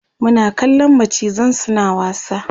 Muna kallan macizan suna wasa